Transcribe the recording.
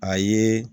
A ye